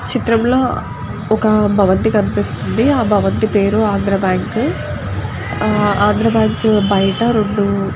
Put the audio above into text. ఈ చిత్రంలో ఒక భవంతి కనిపిస్తుంది. ఆ భగవంతు పేరు ఆంధ్ర బ్యాంకు . ఆ ఆంధ్ర బ్యాంకు బయట రెండు --